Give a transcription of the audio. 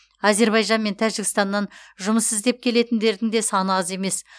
әзербайжан мен тәжікстаннан жұмыс іздеп келетіндердің де саны аз емес